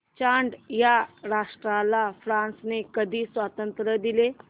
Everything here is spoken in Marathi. चाड या राष्ट्राला फ्रांसने कधी स्वातंत्र्य दिले